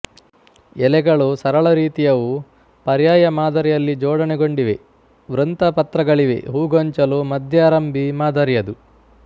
ಎಲೆಗಳು ಸರಳರೀತಿಯವು ಪರ್ಯಾಯ ಮಾದರಿಯಲ್ಲಿ ಜೋಡಣೆಗೊಂಡಿವೆ ವೃಂತಪತ್ರಗಳಿವೆ ಹೂಗೊಂಚಲು ಮಧ್ಯಾರಂಭಿ ಮಾದರಿಯದು